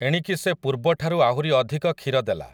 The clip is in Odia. ଏଣିକି ସେ ପୂର୍ବଠାରୁ ଆହୁରି ଅଧିକ କ୍ଷୀର ଦେଲା ।